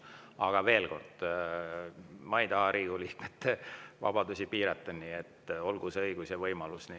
Aga veel kord: ma ei taha Riigikogu liikmete vabadusi piirata, nii et olgu neil see õigus ja võimalus.